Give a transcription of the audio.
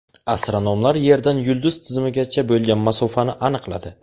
Astronomlar Yerdan yulduz tizimigacha bo‘lgan masofani aniqladi.